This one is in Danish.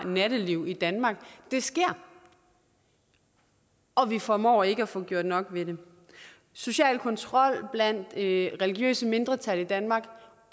nattelivet i danmark sker og vi formår ikke at få gjort nok ved det social kontrol blandt religiøse mindretal i danmark